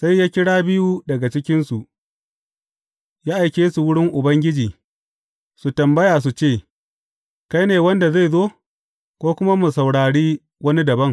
Sai ya kira biyu daga cikinsu, ya aike su wurin Ubangiji, su tambaya su ce, Kai ne wanda zai zo, ko kuma mu saurari wani dabam?